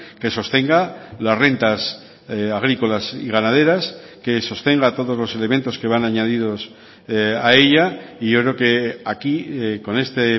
que sostenga las rentas agrícolas y ganaderas que sostenga todos los elementos que van añadidos a ella y yo creo que aquí con este